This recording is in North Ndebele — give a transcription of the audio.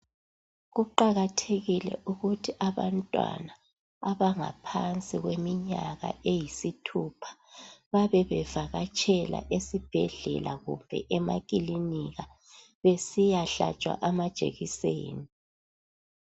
Kuqakathekile ukuthi abantwana abangaphansi kweminyaka eyisithupha babe bevakatshela esibhedlela, kumbe emakilinika besiyahlatshwa amajekiseni.